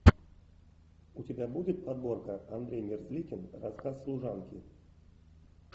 у тебя будет подборка андрей мерзликин рассказ служанки